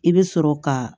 I bɛ sɔrɔ ka